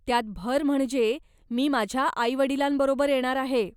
त्यात भर म्हणजे मी माझ्या आईवडिलांबरोबर येणार आहे.